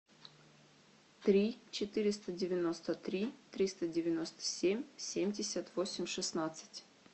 три четыреста девяносто три триста девяносто семь семьдесят восемь шестнадцать